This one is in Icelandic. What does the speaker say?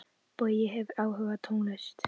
Bogi hefur áhuga á tónlist.